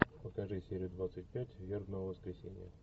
покажи серию двадцать пять вербного воскресенья